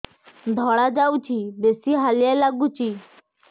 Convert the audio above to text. ଧଳା ଯାଉଛି ବେଶି ହାଲିଆ ଲାଗୁଚି